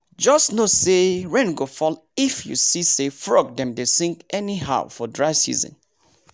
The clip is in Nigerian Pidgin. just know say rain go fall if you see say frog dem dey sing anyhow for dry season